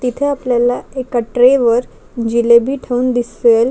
तिथे आपल्याला एका ट्रे वर जिलेबी ठेवून दिसेल.